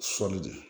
Sɔli de